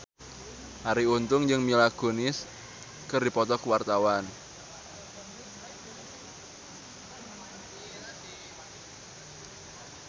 Arie Untung jeung Mila Kunis keur dipoto ku wartawan